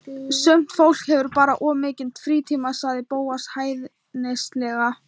Sumt fólk hefur bara of mikinn frítíma sagði Bóas hæðnislega.